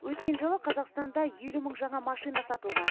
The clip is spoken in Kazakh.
өткен жылы қазақстанда елу мың жаңа машина сатылған